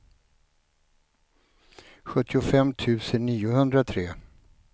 sjuttiofem tusen niohundratre